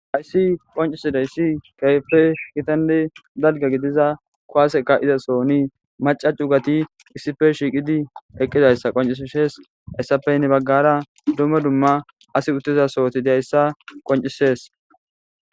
hayssi qoncisidayssi kehipe gitanne dalga gidiza kuwaseka izasoni maca cugati issife shiiqidi eqqidayssa qoncishes hessapey ne baggara dumma dumma asi uttiza sohoti dayssa qoncisees